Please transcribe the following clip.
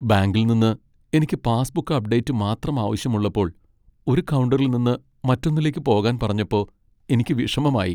ബാങ്കിൽ നിന്ന് എനിക്ക് പാസ്ബുക്ക് അപ്ഡേറ്റ് മാത്രം ആവശ്യമുള്ളപ്പോൾ ഒരു കൗണ്ടറിൽ നിന്ന് മറ്റൊന്നിലേക്ക് പോകാൻ പറഞ്ഞപ്പോ എനിക്ക് വിഷമമായി.